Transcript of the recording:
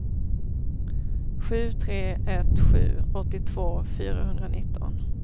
sju tre ett sju åttiotvå fyrahundranitton